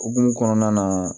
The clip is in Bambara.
Okumu kɔnɔna na